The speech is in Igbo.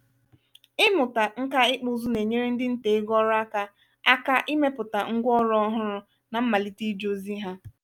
imụta ǹkà ịkpụ ụzụ na-enyere ndị ntà ego ọrụaka aka imepụta ngwaọrụ ọhụrụ nà mmalite ije ozi ha.